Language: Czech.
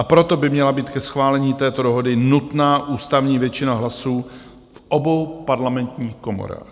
A proto by měla být ke schválení této dohody nutná ústavní většina hlasů v obou parlamentních komorách.